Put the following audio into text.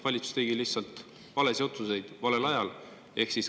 Valitsus tegi lihtsalt valesid otsuseid valel ajal.